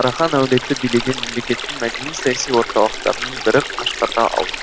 қарахан әулеті билеген мемлекеттің мәдени саяси орталықтарының бірі қашқарға ауысты